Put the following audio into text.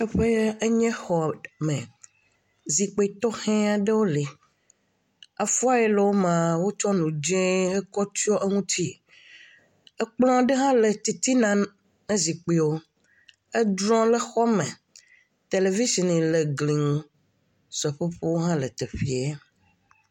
Teƒe ye enye xɔ me, zikpui tɔxɛ aɖewo le, avɔ ye le wo mea, wotsɔ enu dzee kɔ tsyɔ eŋuti, ekplɔ aɖe hã le titina ne zikpuiɔ, edrɔ le xɔ me, televitsin le glie ŋu, seƒoƒowo hã la teƒee.